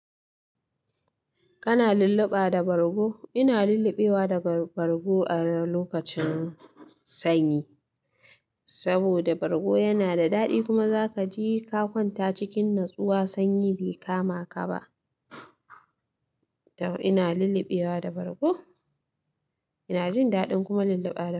Kana lulluɓa da bargo? Ina lulluɓewa da bargo a lokacin sanyi, saboda bargo yana da daɗi kuma zaka ji ka kwanta cikin natsuwa sanyi bai kamaka ba. Ina lulluɓewa da bargo, ina jin daɗin kuma lulluɓa da shi.